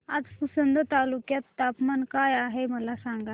आज पुसद तालुक्यात तापमान काय आहे मला सांगा